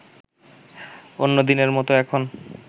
অন্যদিনের মতো এখন